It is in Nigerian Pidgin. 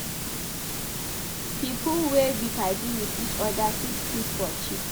pipo wey be padi with each oda fit kiss for cheek